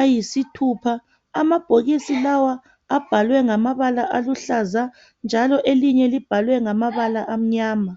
ayisithupha. Amabhokisi lawa abhalwe ngamabala aluhlaza njalo elinye libhalwe ngamabala amnyama.